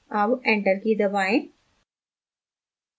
अब enter की key दबाएं